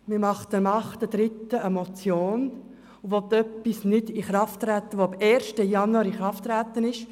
Man reicht am 9. März eine Motion ein und will etwas nicht in Kraft setzen, das am 1. Januar in Kraft getreten ist.